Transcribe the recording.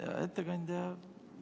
Hea ettekandja!